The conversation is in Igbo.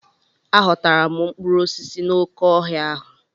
A ghọtara m mkpụrụ osisi n'oké ọhịa ahụ.